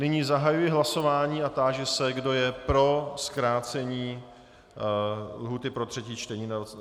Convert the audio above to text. Nyní zahajuji hlasování a táži se, kdo je pro zkrácení lhůty pro třetí čtení na 48 hodin.